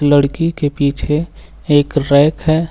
लड़की के पीछे एक रैक है।